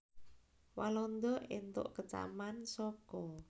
Walanda entuk kecaman saka